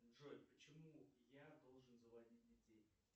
джой почему я должен заводить детей